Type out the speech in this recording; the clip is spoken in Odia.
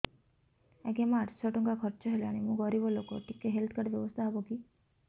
ଆଜ୍ଞା ମୋ ଆଠ ସହ ଟଙ୍କା ଖର୍ଚ୍ଚ ହେଲାଣି ମୁଁ ଗରିବ ଲୁକ ଟିକେ ହେଲ୍ଥ କାର୍ଡ ବ୍ୟବସ୍ଥା ହବ କି